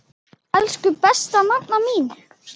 Elsku besta nafna mín.